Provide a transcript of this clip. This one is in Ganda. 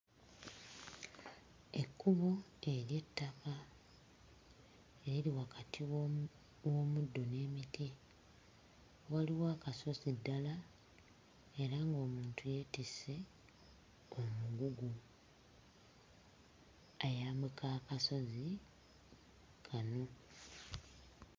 Ekkubo ery'ettaka eriri wakati w'omu w'omuddo n'emiti waliwo akasozi ddala era ng'omuntu yeetisse omugugu ayambuka akasozi kano.